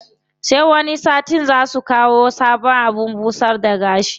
Sai wani satin zaa su kawo sabon abin busar da gashi.